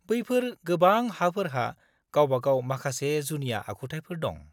-बैफोर गोबां हाफोरहा गावबागाव माखासे जुनिया आखुथायफोर दं।